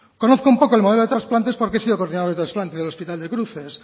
conozco un poco el modelo de trasplantes porque he sido coordinador de trasplantes del hospital de cruces